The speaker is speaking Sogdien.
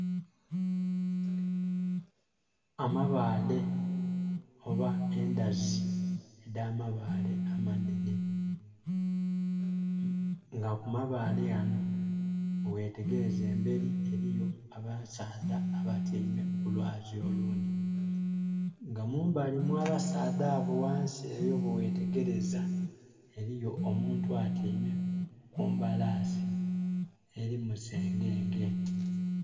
Amabale oba endhazi edha mabale amanhene nga ku mabale ghano bwe ghetegereza emberi eriyo abasaadha batyaime ku lwazi olundhi nga mumbali mwa abasaadha abo bwe ghetegereza eriyo omuntu atyaime ku mbalasi eri mu sengenge.